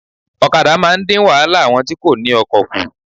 Òkadà máa ń dín wáhálà àwọn tí kò ní okò kù